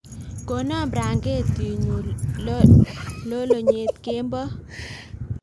kono blanketitnyu lolonyet kemboi